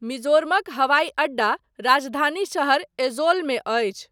मिजोरमक हवाइ अड्डा राजधानी शहर ऐजोलमे अछि।